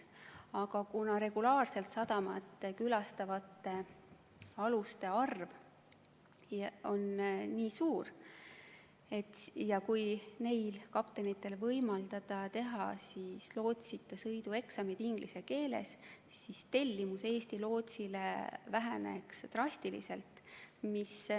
Aga kuna regulaarselt sadamatesse sõitvate aluste arv on suur, siis oleks nii, et kui neil kaptenitel võimaldada teha lootsita sõidu eksam inglise keeles, siis tellimus Eesti lootsile väheneks drastiliselt.